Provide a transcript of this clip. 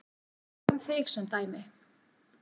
Tökum þig sem dæmi.